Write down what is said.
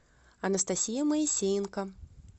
анастасия моисеенко